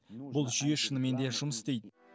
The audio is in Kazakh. бұл жүйе шынымен де жұмыс істейді